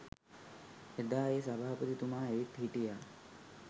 එදා ඒ සභාපතිතුමා ඇවිත් හිටියා